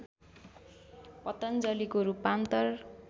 पतञ्जलिको रूपान्तर